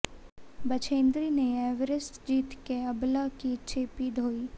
बछेन्द्री नै एवरेस्ट जीत कै अबला की चेपी धोई